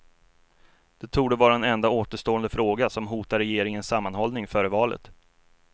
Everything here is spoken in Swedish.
Det torde vara den enda återstående fråga som hotar regeringens sammanhållning före valet.